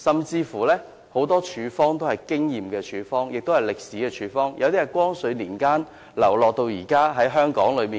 有很多處方都是憑經驗所得，或者歷史流傳下來，有些甚至由光緒年間流傳至今，繼續在香港出售。